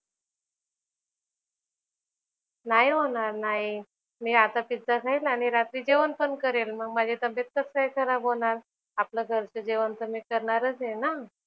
नाही होणार ना आई. मी आता पिझ्झा खाईन आणि रात्री जेवणपण करेल. मग माझी तब्येत कसं काय खराब होणार? आपल्या घरचं जेवण तर मी करणारंच आहे ना.